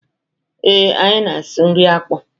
Ee, anyị asụ nri akpụ.